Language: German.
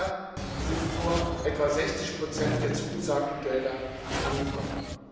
Bisher sind nur etwa 60 der zugesagten Gelder angekommen.